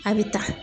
A bɛ ta